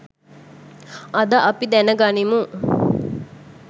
අද අපි දැන ගනිමු